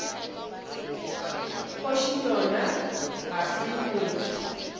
kgoši yona ga se motho